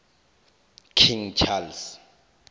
king charles